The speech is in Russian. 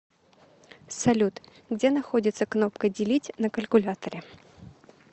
салют где находится кнопка делить на калькуляторе